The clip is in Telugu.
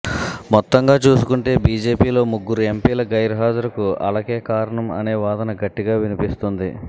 మొత్తంగా చూసుకుంటే బిజెపిలో ముగ్గురు ఎంపిల గైర్హాజరు కు అలకే కారణం అనే వాదన గట్టిగా వినిపిస్తోంది